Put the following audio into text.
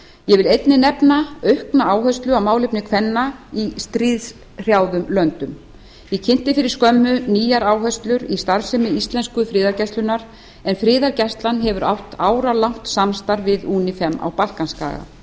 ég vil einnig nefna aukna áherslu á málefni kvenna í stríðshrjáðum löndum ég kynnti fyrir skömmu nýjar áherslur í starfsemi íslensku friðargæslunnar en friðargæslan hefur átt áralangt samstarf við unifem á balkanskaga